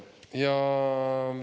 Aitäh!